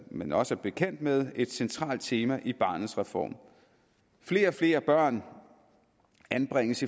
man også er bekendt med et centralt tema i barnets reform flere og flere børn anbringes